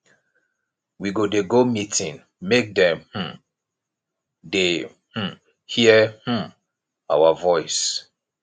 we go dey go meeting make dem um dey um hear um our voice